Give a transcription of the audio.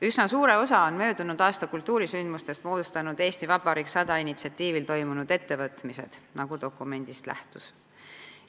Üsna suure osa möödunud aasta kultuurisündmustest moodustasid "Eesti Vabariik 100" initsiatiivil toimunud ettevõtmised, nagu dokumendist lähtus.